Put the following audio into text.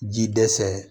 Ji dɛsɛ